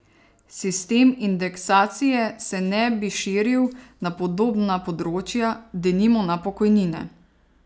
Sistem indeksacije se ne bi širil na podobna področja, denimo na pokojnine.